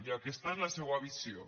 i aquesta és la seua visió